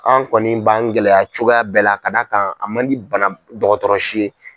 An kɔni b'an gɛlɛya cogoya bɛɛ la ka d'a kan a man di bana dɔgɔtɔrɔsi ye.